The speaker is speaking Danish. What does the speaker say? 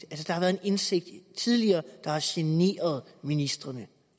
at der har været en indsigt tidligere der har generet ministrene